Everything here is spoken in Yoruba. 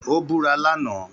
Ó búra lánàá.